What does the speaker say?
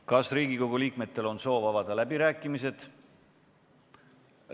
Kas Riigikogu liikmetel on soovi avada läbirääkimisi?